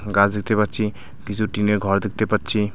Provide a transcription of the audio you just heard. গাছ দেখতে পাচ্ছি কিছু টিনের ঘর দেখতে পাচ্ছি .